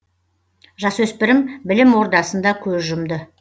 жасөспірім білім ордасында көз жұмды